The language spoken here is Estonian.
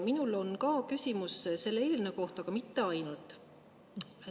Minul on ka küsimus selle eelnõu kohta, aga mitte ainult.